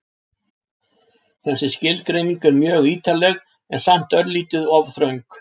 Þessi skilgreining er mjög ítarleg en samt örlítið of þröng.